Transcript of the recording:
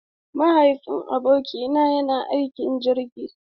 Mahaifin abokina yana aiki a jirgi.